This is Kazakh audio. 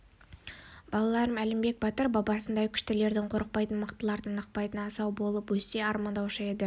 балаларым әлімбек батыр бабасындай күштілерден қорықпайтын мықтылардан ықпайтын асау болып өссе деп армандаушы еді